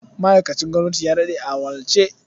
Ma'aikacin gwamnati ya daɗe a wahalce.